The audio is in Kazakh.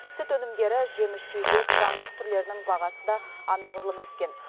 сүт өнімдері жеміс жидек жаңғақ түрлерінің бағасы да анағұрлым өскен